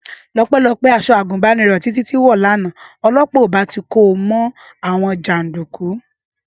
Ọpẹ́lọpẹ́ aṣọ àgùnbánirọ̀ tí Títí wọ̀ lánàá, ọlọ́pàá ì bá ti ko mọ́ àwọn jàndùkú